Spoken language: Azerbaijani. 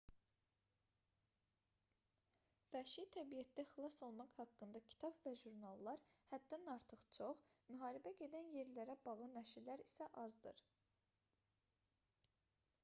vəhşi təbiətdə xilas olmaq haqqında kitab və jurnallar həddən artıq çox müharibə gedən yerlərlə bağlı nəşrlər isə azdır